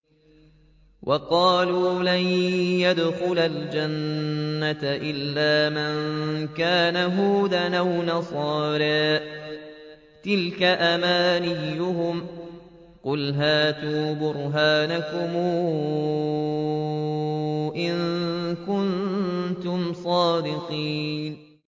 وَقَالُوا لَن يَدْخُلَ الْجَنَّةَ إِلَّا مَن كَانَ هُودًا أَوْ نَصَارَىٰ ۗ تِلْكَ أَمَانِيُّهُمْ ۗ قُلْ هَاتُوا بُرْهَانَكُمْ إِن كُنتُمْ صَادِقِينَ